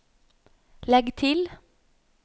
legg til